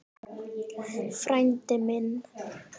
Frændi minn!